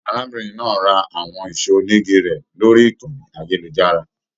Arábìnrin náà rà àwọn ẹṣọ onígí rẹ lórí ìkànnì ayelujara.